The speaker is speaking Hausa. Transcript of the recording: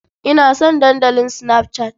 Ina son Dandalin Snapchat.